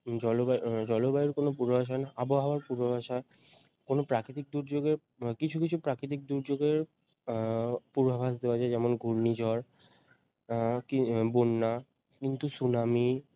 জলবা~ জলবায়ুর কোনও পূর্বাভাস হয় না আবহাওয়ার পূর্বাভাস হয় কোনও প্রাকৃতিক দুর্যোগে কিছু কিছু প্রাকৃতিক দুর্যোগের আহ পূর্বাভাস দেওয়া যায় যেমন ঘূর্ণিঝড় উম বন্যা কিন্তু সুনামি